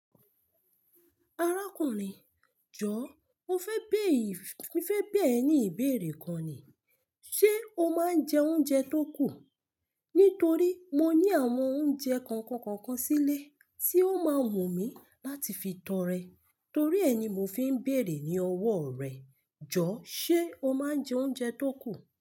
Arákùnrin, jọọ mo fẹ́ bẹ̀ẹ ní ìbéèrè kan ni, ṣe o máa ń jẹ oúnjẹ tó kù? Nítorí mo ní àwọn oúnjẹ kọ̀ọ̀kan kọ̀ọ̀kan sílé tí ó máa wù mí láti fi tọrẹ. Torí ẹ ni mo fi ń béèrè ní ọwọ́ rẹ. Jọ, ṣe o máa ń jẹ oúnjẹ tó kù?